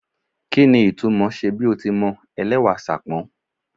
Kí ni ìtumò ṣe bí o ti mọ ẹlẹ́wà Ṣàpọ́n?